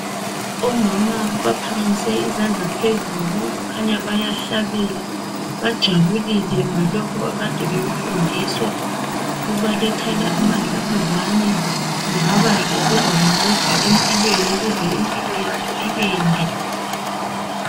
Omama baphakamise izandla phezulu kukhanya bayahlabela bajabulile ngalokho akade bekufundiswa ,kubalethela amadlabuzane kungaba ngokuzabanceda empilweni ukuze impilo yabo ibende.